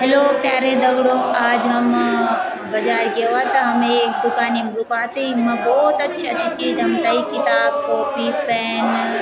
हेल्लो प्यारे दगडियों आज हम बजाई ग्येवां त हम एक दुकानी म रुका त इख्मा भौत अच्छी अच्छे चीज़ हमथै किताब कॉपी पेन ।